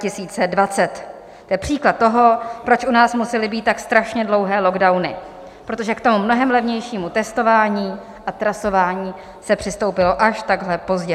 To je příklad toho, proč u nás musely být tak strašně dlouhé lockdowny, protože k tomu mnohem levnějšímu testování a trasování se přistoupilo až takhle pozdě.